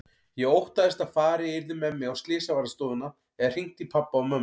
Ég óttaðist að farið yrði með mig á slysavarðstofuna eða hringt í pabba og mömmu.